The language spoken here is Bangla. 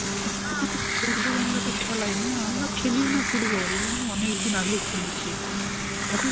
না আমাদের football আমরা তো খেলাই না, আমরা খেলিও না football. ওগুনো অনেকদিন আগে খেলেছি. এখন